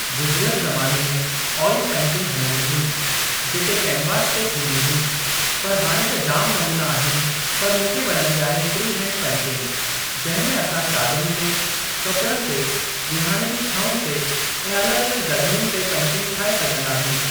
गुज़िरियल ज़माने में ऑइल पेंटिंग हलंदी हुई जेके कैनवास ते थींदी हुई पर हाणे त जाम नमूना आहिनि पर मूंखे वणंदी आहे फ़्री हैंड पेंटिंग जंहिं में असां चादरुनि ते, कपिड़नि ते विहाणे जी छउनि ते ऐं अलॻि-अलॻि जॻहियुनि ते पेंटिंग ठाहे सघिंदा आहियूं।